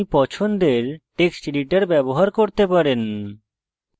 আপনি পছন্দের text editor ব্যবহার করতে পারেন